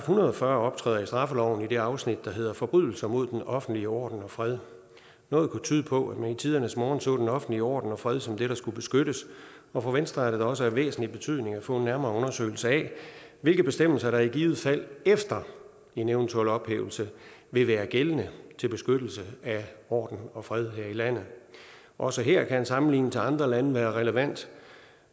hundrede og fyrre optræder i straffeloven i det afsnit der hedder forbrydelser mod den offentlige orden og fred noget kunne tyde på at man i tidernes morgen så den offentlige orden og fred som det der skulle beskyttes og for venstre er det da også af væsentlig betydning at få en nærmere undersøgelse af hvilke bestemmelser der i givet fald efter en eventuel ophævelse vil være gældende til beskyttelse af orden og fred her i landet også her kan en sammenligning til andre lande være relevant